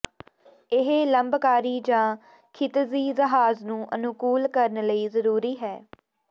ਇਹ ਲੰਬਕਾਰੀ ਜ ਖਿਤਿਜੀ ਜਹਾਜ਼ ਨੂੰ ਅਨੁਕੂਲ ਕਰਨ ਲਈ ਜ਼ਰੂਰੀ ਹੈ